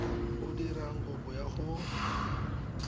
o dirang kopo ya go